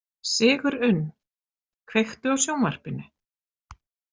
Sigurunn, kveiktu á sjónvarpinu.